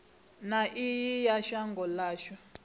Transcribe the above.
na iwe ya shango ashu